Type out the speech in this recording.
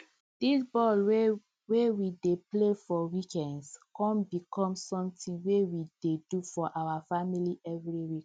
di ball wey we dey play for weekends con become something wey we dey do for our family every week